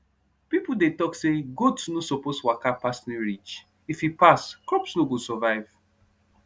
people dey talk say goats no suppose waka pass new ridge if e pass crops no go survive